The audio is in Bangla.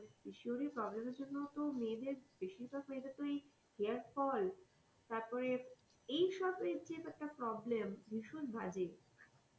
শরীরের problem এর জন্যে তো মেয়েদের বেশি ভাগ মেয়েদের তো এই hair fall তারপর এই সব যে একটা problem ভীষণ বাজে।